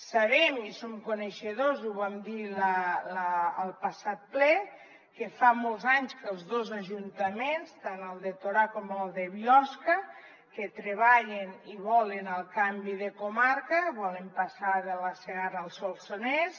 sabem i som coneixedors ho vam dir al passat ple que fa molts anys que els dos ajuntaments tant el de torà com el de biosca treballen i volen el canvi de comarca volen passar de la segarra al solsonès